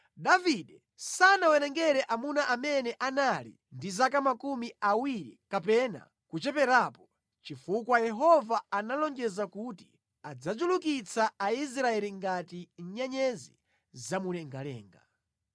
Davide sanawerenge amuna amene anali ndi zaka makumi awiri kapena kucheperapo, chifukwa Yehova analonjeza kuti adzachulukitsa Aisraeli ngati nyenyezi zamumlengalenga.